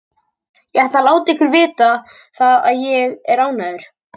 Ég ætla að láta ykkur vita það að ÉG er ekki ánægður.